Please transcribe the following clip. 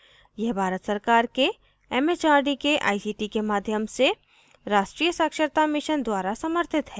यह भारत सरकार के एमएचआरडी के आईसीटी के माध्यम से राष्ट्रीय साक्षरता mission द्वारा समर्थित है